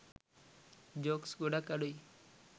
Jokes ගොඩක් අඩුයි.